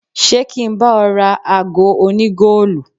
Ṣé kí n bá ọ ra ago oní-goolu.